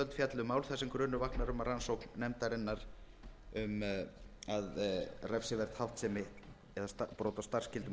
fjalli um mál þar sem grunur vaknar við rannsókn nefndarinnar um refsiverða háttsemi eða brot á starfsskyldum